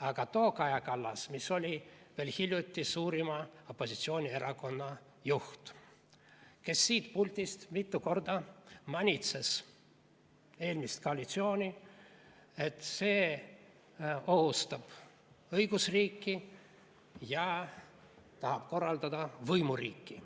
vaid too Kaja Kallas, kes oli veel hiljuti suurima opositsioonierakonna juht ja kes siit puldist mitu korda manitses eelmist koalitsiooni, et see ohustab õigusriiki ja tahab korraldada võimuriiki.